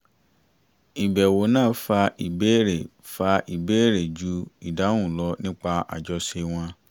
ìbẹ̀wò náà fa ìbéèrè fa ìbéèrè jù ìdáhùn lọ nípa àjọṣe wọn